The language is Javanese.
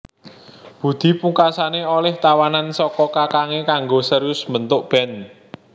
Budi pungkasané olih tawanan saka kakangé kanggo serius mbentuk band